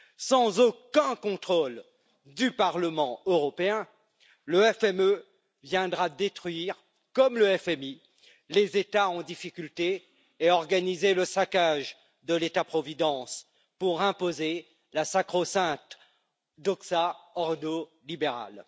Sans aucun contrôle du Parlement européen, le FME viendra détruire, comme le FMI, les États en difficulté et organiser le saccage de l'État providence pour imposer la sacro sainte doxa ordo libérale.